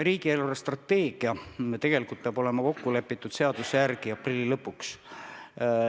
Riigi eelarvestrateegia peab seaduse järgi olema kokku lepitud aprilli lõpuks.